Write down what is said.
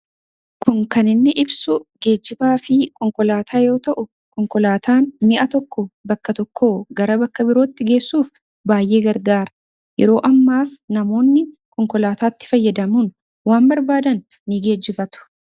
Suurri kun kan inni ibsu geejjibaa fi konkolaataa yoo ta'u, konkolaataan bakka tokkoo gara bakka biraatti geessuuf baay'ee gargaara. Yeroo ammaas namoonni konkolaataatti fayyadamuun geejjibatu.